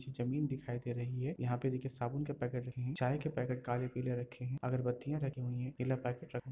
ज़मीन दिखाई दे रही है। यहां पर देखिये साबुन के पैकेट रखे हैं चाय के पैकेट काले पीले रखे हैं अगरबत्तियां रखी हुई हैं पीला पैकेट --